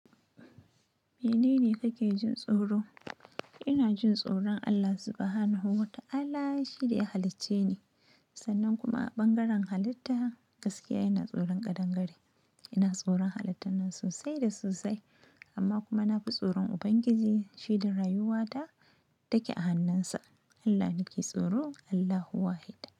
Menene kake jin tsoro? Ina jin tsoron Allah subhanahu wa ta'ala, shi da ya halicce ni. Sannan kuma ɓangaren halitta, gaskiya ina tsoron ƙadangare. Ina tsoron halittan nan sosai da sosai, amma kuma na fi tsoron Ubangiji, shi da rayuwa ta take a hannunsa. Allah nake tsoro, Allahu wahid.